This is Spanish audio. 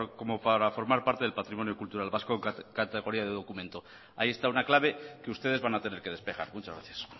como para formar parte del patrimonio cultural vasco en categoría de documento ahí está una clave que ustedes van a tener que despejar muchas gracias